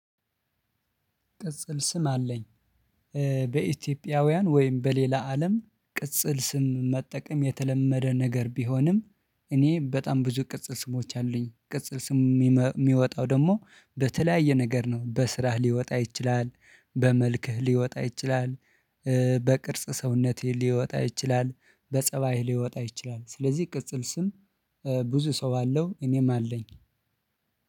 ቅጽል ስም አለኝ። በኢትዮጵያውያን ወይም በሌላ አለም ቅጽል ስም መጠቀም የተለመደ ነገር ቢሆንም እኔ በጣም ብዙ ቅጽል ስሞች አሉኝ። ቅጽል ስም የሚወጣው ደግሞ በተለያየ ነገር ነው በስራህ ሊወጣ ይችላል። በመልክህ ሊወጣ ይችላል። በቅርጽ ሰውነትህ ሊወጣ ይችላል። በጸባይህ ሊወጣ ይችላል። ስለዚህ ቅጽል ስም ብዙ ሰው አለው እኔም አለኝ።